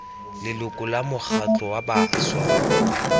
leloko la mokgatlho wa bašwa